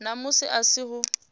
na musi a si ho